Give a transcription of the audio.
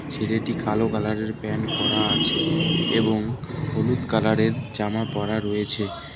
ছেলেটি কালো কালারের প্যান্ট পরা আছে এবং হলুদ কালারের জামা পরা রয়েছে।